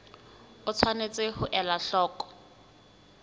o tshwanetse ho ela hloko